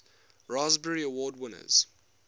raspberry award winners